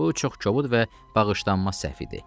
Bu çox kobud və bağışlanmaz səhv idi.